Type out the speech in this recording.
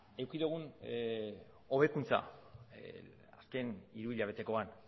eduki dugun hobekuntza azken hiruhilabetekoan